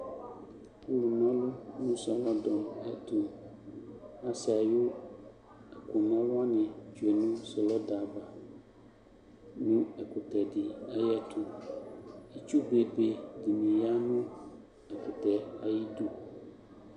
Ɔlʋna ɔlʋ nʋ sɔlɔdɔ ayɛtʋ Asɛ ayʋ ɛkʋna ɔlʋ wanɩ tsue nʋ sɔlɔdɔ ava nʋ ɛkʋtɛ dɩ ayɛtʋ Itsu bebe dɩnɩ ya nʋ ɛkʋtɛ yɛ ayidu